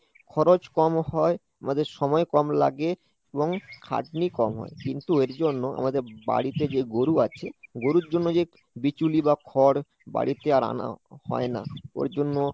খরচ কম হয় আমাদের সময় কম লাগে এবং খাটনি কম হয় কিন্তু এর জন্য আমাদের বাড়িতে যে গরু আছে গরুর জন্য যে বিচুলি বা খড় বাড়িতে আর আনা হয় না ওর জন্য